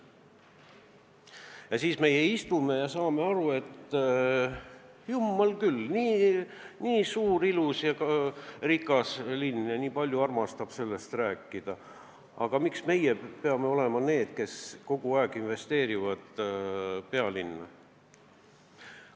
Ja meie istume ja katsume aru saada: jumal küll, nii suur, ilus ja rikas linn ja nii palju armastab ise sellest rääkida, miks meie peame olema need, kes kogu aeg investeerivad pealinna?